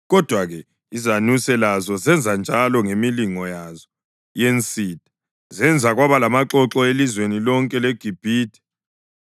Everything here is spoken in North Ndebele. Kodwa-ke izanuse lazo zenzanjalo ngemilingo yazo yensitha, zenza kwaba lamaxoxo elizweni lonke leGibhithe.